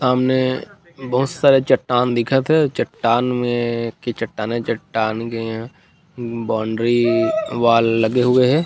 सामने बहुत सारे चट्टान दिखत हे चट्टान में चट्टान-चट्टान बॉउंड्री वाल